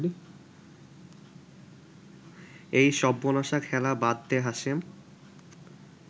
এই সব্বনাশা খেলা বাদ দে হাশেম